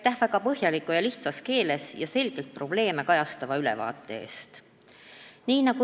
Aitäh väga põhjaliku, lihtsas keeles ja selgelt probleeme kajastava ülevaate eest!